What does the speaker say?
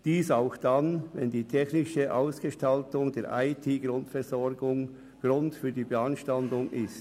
Dies auch dann, wenn die technische Ausgestaltung der IT-Grundversorgung Grund für die Beanstandung ist.